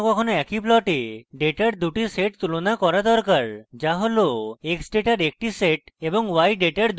কখনও কখনও আমাদের একই plot ডেটার দুটি sets তুলনা করা দরকার যা হল x ডেটার একটি sets এবং y ডেটার দুটি sets